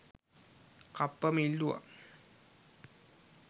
කප්පම ඉල්ලුවා